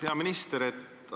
Hea minister!